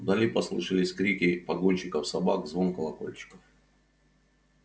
вдали послышались крики погонщиков собак звон колокольчиков